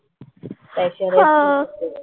हां.